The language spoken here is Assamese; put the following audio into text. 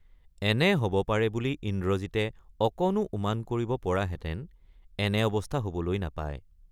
এনে হব পাৰে বুলি ইন্দ্ৰজিতে অকণো উমান কৰিব পৰাহেতেন এনে অৱস্থা হবলৈ নাপায়।